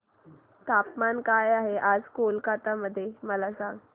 तापमान काय आहे आज कोलकाता मध्ये मला सांगा